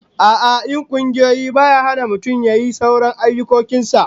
A'a, yin kungiyoyi baya hana mutum yayi sauran harkokin sa